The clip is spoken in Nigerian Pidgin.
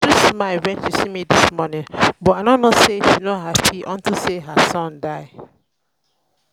uju smile wen she see me dis morning but i no say she no happy unto say her son die